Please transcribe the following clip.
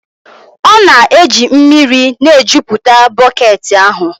ọ na-eji mmiri na-ejupụta bọket ahụ